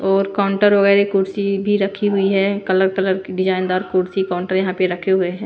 और काउंटर वगैरह कुर्सी भी रखी हुई है कलर कलर की डिजाइनदार कुर्सी काउंटर यहां पे रखे हुए हैं।